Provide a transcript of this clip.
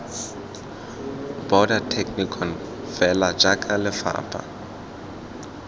border technikon fela jaaka lefapha